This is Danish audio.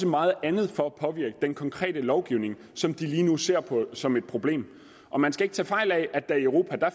meget andet for at påvirke den konkrete lovgivning som de lige nu ser på som et problem og man skal ikke tage fejl af at der i europa